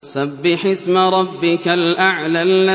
سَبِّحِ اسْمَ رَبِّكَ الْأَعْلَى